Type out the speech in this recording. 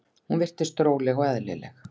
Hún virðist róleg og eðlileg.